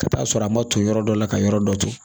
Ka taa'a sɔrɔ a ma to yɔrɔ dɔ la ka yɔrɔ dɔ to